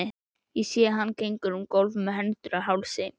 Sé að hann gengur um gólf með hendur á hálsi.